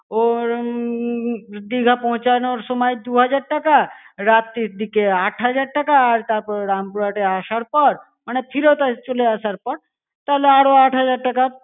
ওর~ উম দিঘা পৌঁছানোর সময় দু-হাজার টাকা, রাত্রির দিকে আট হাজার টাকা, আর তারপর রামপুরহাটে আসার পর, মানে ফিরত এ~ চলে আসার পর তাহলে আরো আট হাজার টাকা।